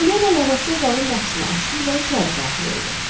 Polyana yavaşca zalın qapısını açdı və içəri daxil oldu.